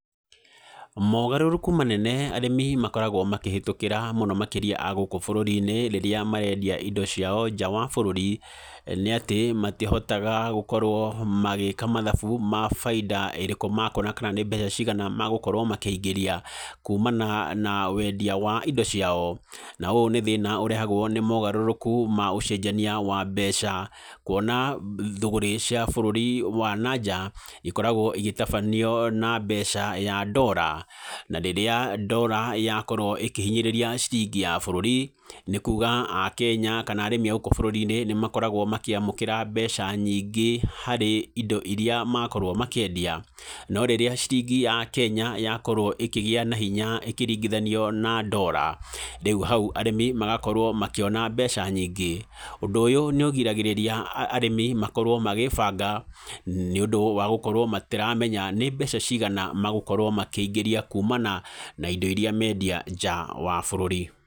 Mogarũrũku manene arĩmi makoragwo makĩhĩtũkĩra mũno makĩria a gũkũ bũrũri-inĩ rĩrĩa marendia indo ciao nja wa bũrũri nĩ atĩ, matĩhotaga gũkorwo magĩka mathabu ma bainda ĩrĩkũ makuona, kana nĩ mbeca cigana magũkorwo makĩingĩria kuumana na wendia wa indo ciao. Na ũũ nĩ thĩna ũrehagwo nĩ mogarũrũku ma ũcenjania wa mbeca. Kũona thũgũrĩ cia bũrũri wa nanja ikoragwo igĩtabanio na mbeca ya ndora. Na rĩrĩa ndora ya korwo ĩkĩhinyĩrĩria ciringi ya bũrũri, nĩ kuuga akenya kana arĩmi a gũkũ bũrũri-inĩ nĩ makoragwo makĩamũkĩra mbeca nyingĩ harĩ indo irĩa makorwo makĩendia. No rĩrĩa ciringi ya Kenya yakorwo ĩkĩgĩa na hinya ĩkĩringithanio na ndora, rĩu hau arĩmi magakorwo makĩona mbeca nyingĩ. Ũndũ ũyũ nĩ ũgiragĩrĩria arĩmi makorwo magĩbanga nĩ ũndũ wa gũkorwo matiramenya nĩ mbeca cigana magũkorwo makĩingĩria kuumana na indo iria mendia nja wa bũrũri.